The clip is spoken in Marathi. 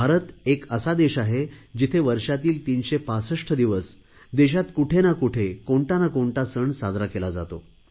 भारत एक असा देश आहे जेथे वर्षातील 365 दिवस देशात कुठे ना कुठे कोणता ना कोणता सण साजरा केला जातो